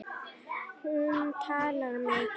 Hún talar mikið.